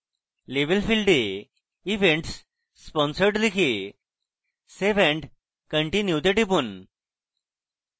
label ফীল্ডে events sponsored লিখে save and continue তে টিপুন